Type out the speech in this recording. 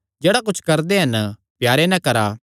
जेह्ड़ा कुच्छ करदे हन प्यारे नैं करा